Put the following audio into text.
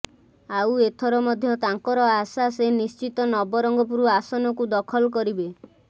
ଆଉ ଏଥର ମଧ୍ୟ ତାଙ୍କର ଆଶା ସେ ନିଶ୍ଚିତ ନବରଙ୍ଗପୁର ଆସନକୁ ଦଖଲ କରିବେ